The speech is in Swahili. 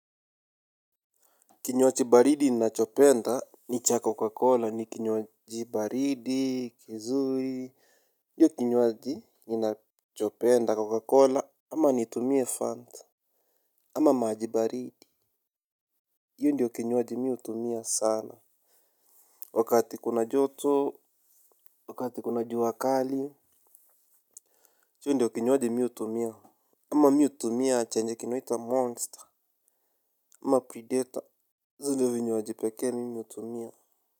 Kinyaji baridi ninachopenda ni cha Coca-Cola ni kinywaji baridi kizuri. Ndio kinywaji ninachopenda Coca-Cola ama nitumie Fanta. Ama maji baridi yo ndio kinywaji mi utumia sana. Wakati kuna joto wakati kuna jua kali. Yo ndiyo kinywaji mi utumia. Ama miutumia chenye kinaitwa monster. Ama predator zindiyo vinywaji pekee mimi utumia.